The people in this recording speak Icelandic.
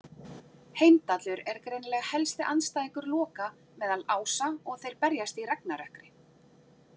Heimdallur er greinilega helsti andstæðingur Loka meðal ása og þeir berjast í ragnarökkri.